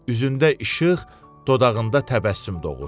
Üzündə işıq, dodağında təbəssüm doğur.